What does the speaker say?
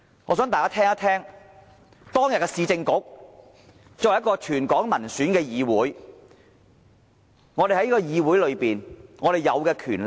我想大家聽聽，當年市政局作為一個全港民選的議會擁有甚麼權力？